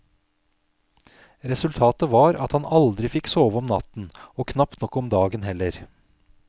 Resultatet var at han aldri fikk sove om natten, og knapt nok om dagen heller.